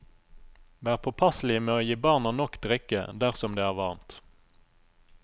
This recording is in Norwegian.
Vær påpasselig med å gi barna nok drikke dersom det er varmt.